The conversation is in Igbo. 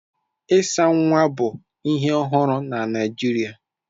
Ịsa nwa bụ ihe ọhụrụ na Naịjirịa